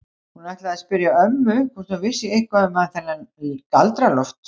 Hún ætlaði að spyrja ömmu hvort hún vissi eitthvað um þennan Galdra-Loft.